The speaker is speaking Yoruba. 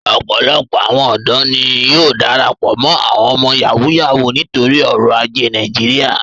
Opolopo awon odo ni yóò darapo mo awọn ọmọ Yahoo Yahoo nitori oro aje Naijiria.